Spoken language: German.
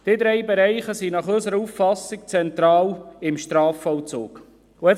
Diese drei Bereiche sind nach unserer Auffassung im Strafvollzug zentral.